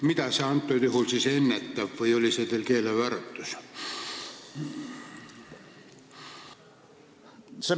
Mida see siis praegusel juhul ennetab või oli see teil keelevääratus?